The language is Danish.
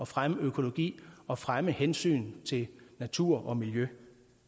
fremme økologi og fremme hensyn til natur og miljø